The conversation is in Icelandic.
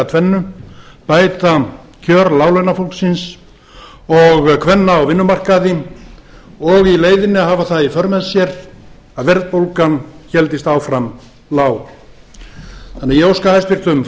tvennu að bæta kjör láglaunafólksins og kvenna á vinnumarkaði og í leiðinni hafa það í för með sér að verðbólgan héldist áfram lág þannig að ég óska hæstvirtum